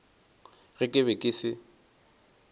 ge ke be ke se